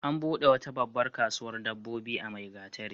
An buɗe wata babbar kasuwar dabbobi a Maigatari.